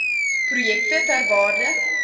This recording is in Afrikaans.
projekte ter waarde